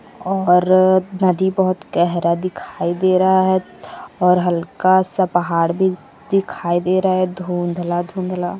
और नदी बहुत गहरा दिखाई दे रहा है और हल्का सा पहाड़ भी दिखाई दे रहा है धुंधला धुंधला--